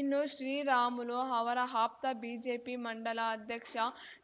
ಇನ್ನು ಶ್ರೀರಾಮುಲು ಅವರ ಆಪ್ತ ಬಿಜೆಪಿ ಮಂಡಲ ಅಧ್ಯಕ್ಷ